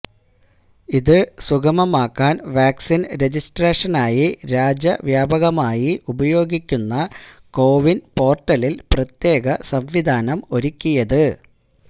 ഇത് സുഗമമാക്കാനാണ് വാക്സിൻ രജിസ്ട്രേഷനായി രാജ്യവ്യാപകമായി ഉപയോഗിക്കുന്ന കോവിൻ പോർട്ടലിൽ പ്രത്യേക സംവിധാനം ഒരുക്കിയത്